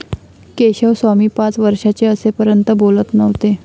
केशवस्वामी पाच वर्षाचे असेपर्यंत बोलत नव्हते.